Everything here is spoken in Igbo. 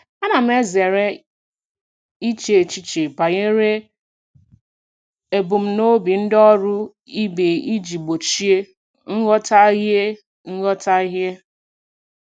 Ana m ezere iche echiche banyere ebumnobi ndị ọrụ ibe iji gbochie nghọtahie. nghọtahie.